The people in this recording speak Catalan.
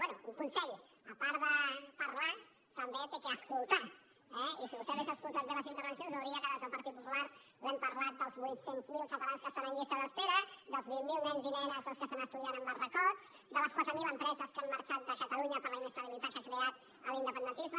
bé un consell a part de parlar també ha d’escoltar eh i si vostè hagués escoltat bé les intervencions veuria que des del partit popular li hem parlat dels vuit cents miler catalans que estan en llista d’espera dels vint mil nens i nenes doncs que estan estudiant en barracots de les quatre mil empreses que han marxat de catalunya per la inestabilitat que ha creat l’independentisme